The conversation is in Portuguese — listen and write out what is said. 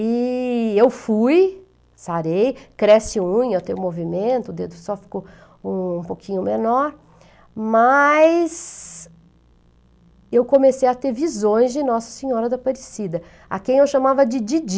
E eu fui, sarei, cresce unha, eu tenho movimento, o dedo só ficou um pouquinho menor, mas eu comecei a ter visões de Nossa Senhora da Aparecida, a quem eu chamava de Didi.